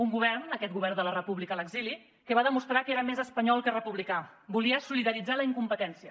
un govern aquest govern de la república a l’exili que va demostrar que era més espanyol que republicà volia solidaritzar la incompetència